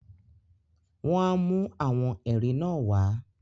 wọ́n á mú “àwọn ẹ̀rí” náà wá.